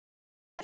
Dilla mér.